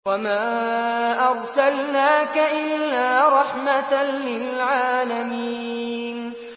وَمَا أَرْسَلْنَاكَ إِلَّا رَحْمَةً لِّلْعَالَمِينَ